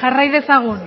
jarrai dezagun